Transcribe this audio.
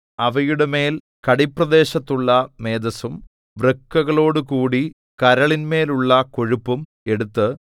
അവയുടെമേൽ കടിപ്രദേശത്തുള്ള മേദസ്സും വൃക്കകളോടുകൂടി കരളിന്മേലുള്ള കൊഴുപ്പും എടുത്ത്